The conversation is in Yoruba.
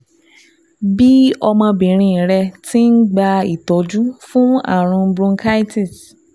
Bí ọmọbìnrin rẹ ti ń gba ìtọ́jú fún ààrùn bronchitis